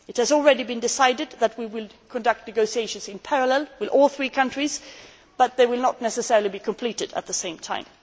It has already been decided that we will conduct negotiations in parallel with all three countries, but they will not necessarily be completed at the same time.